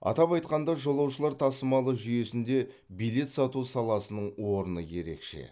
атап айтқанда жолаушылар тасымалы жүйесінде билет сату саласының орны ерекше